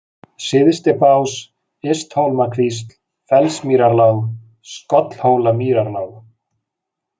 Syðstibás, Ysthólmakvísl, Fellsmýrarlág, Skollhólamýrarlág